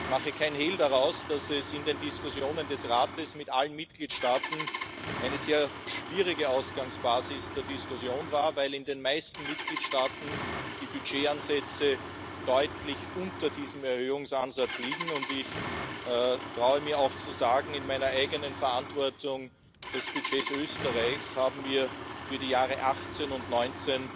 Ich mache keinen Hehl daraus, dass das in den Diskussionen des Rates mit allen Mitgliedstaaten eine sehr schwierige Ausgangsbasis für die Diskussion war, weil in den meisten Mitgliedstaaten die Budgetansätze deutlich unter diesem Erhöhungsansatz liegen, und ich traue mich auch zu sagen, in meiner eigenen Verantwortung Für das Budget Österreichs haben wir für die Jahre 2018 und 2019